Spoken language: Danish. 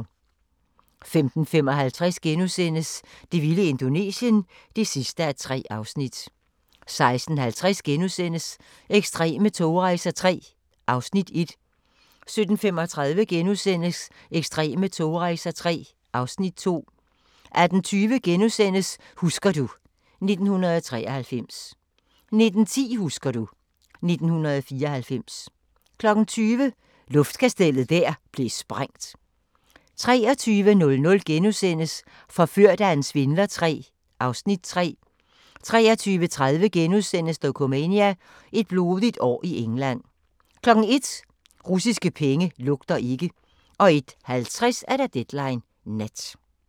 15:55: Det vilde Indonesien (3:3)* 16:50: Ekstreme togrejser III (Afs. 1)* 17:35: Ekstreme togrejser III (Afs. 2)* 18:20: Husker du ... 1993 * 19:10: Husker du ... 1994 20:00: Luftkastellet der blev sprængt 23:00: Forført af en svindler III (Afs. 3)* 23:30: Dokumania: Et blodigt år i England * 01:00: Russiske penge lugter ikke 01:50: Deadline Nat